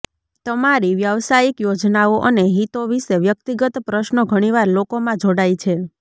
તમારી વ્યાવસાયિક યોજનાઓ અને હિતો વિશે વ્યક્તિગત પ્રશ્નો ઘણીવાર લોકોમાં જોડાય છે